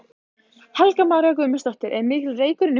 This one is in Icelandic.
Helga María Guðmundsdóttir: Er mikill reykur inni í húsinu?